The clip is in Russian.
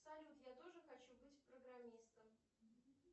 салют я тоже хочу быть программистом